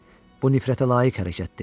Bu nifrətə layiq hərəkətdir.